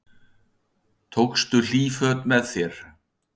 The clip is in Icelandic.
Hugrún Halldórsdóttir: Tókstu hlýt föt með þér?